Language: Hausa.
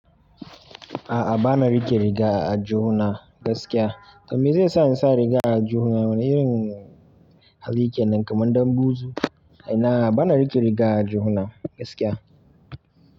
A'a bana rike riga a aljihuna gaskiya. To me zai sa in sa riga a aljihuna? Wane irin hali kenan kamar ɗan buzu? Inaa bana rike riga a aljihuna gaskiya.